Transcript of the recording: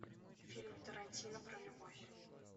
фильм тарантино про любовь